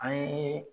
An ye